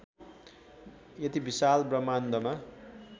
यति विशाल ब्रह्माण्डमा